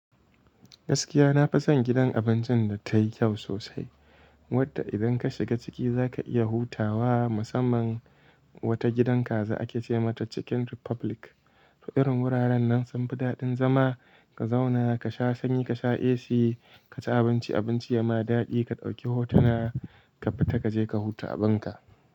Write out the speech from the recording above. Gaskiya na fi son gidan abincin da tai kyau sosai, wanda idan ka shiga ciki za ka iya hutawa. Musamman wata gidan kaza ake ce mata Chicken Republic. Irin wuraren sun fi daɗin zama, ka zauna ka sha sanyi, ka sha AC, ka ci abinci abinci ya ma daɗi, ka ɗauki hotona, ka fita ka je ka huta abinka.